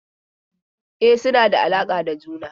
E, suna da alaƙa da juna.